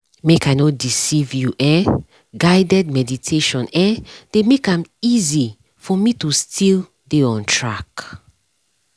make i no deceive you[um]guided meditation eh dey make am easy for me to still dey on track